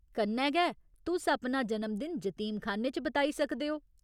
कन्नै गै, तुस अपना जन्मदिन जतीमखान्ने च बताई सकदे ओ।